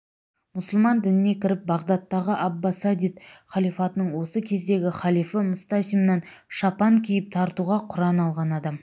мұсылман дініне кіріп бағдаттағы аббасадид халифатының осы кездегі халифы мстасимнан шапан киіп тартуға құран алған адам